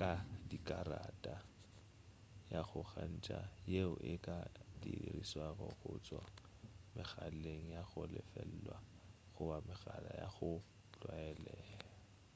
ka dikarata ya go gakantša yeo e ka dirišwago go tšwa megaleng ya go lefelwa goba megala ya go tlwaelegwa